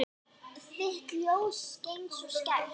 Þitt ljós skein svo skært.